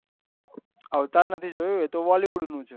અવતાર નથી જોયું એ તો બોલીવૂડ મુવી છે